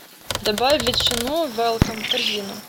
добавь ветчину велком в корзину